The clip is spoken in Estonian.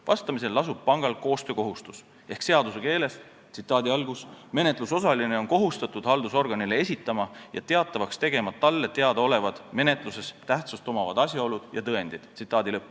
Vastamisel lasub pangal koostöökohustus ehk seaduse keeles öeldes: menetlusosaline on kohustatud haldusorganile esitama ja teatavaks tegema talle teadaolevad menetluses tähtsust omavad asjaolud ja tõendid.